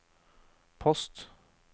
post